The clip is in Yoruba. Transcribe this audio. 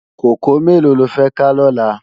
Kókòó méló ló fè ká lòlá?